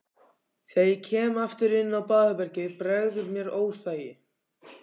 Þegar ég kem aftur inn á baðherbergið bregður mér óþægi